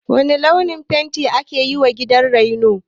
Wane launin fenti aka yiwa gidan raino?